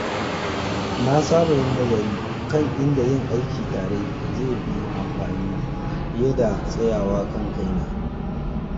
Na saba yin nazari kan inda yin aiki tare zai fi amfani fiye da tsayawa kan kaina.